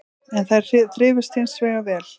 En þær þrifust hins vegar vel